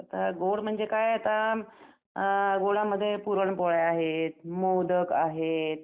अ गोड म्हणजे काय आता अ गुळामध्ये पुरणपोळ्या आहेत. मोदक आहेत.